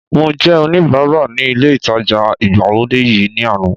Mo jẹ́ oníbara ní ilé ìtajà ìgbàlódé yìí ní àná